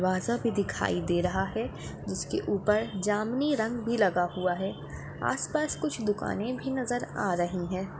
दरवाजा भी दिखाई दे रहा हैं जिसके ऊपर जामनी रंग भी लगा हुआ हैं। आसपास कुछ दुकाने भी नजर आ रही हैं।